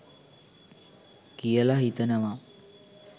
කියල හිතනවා.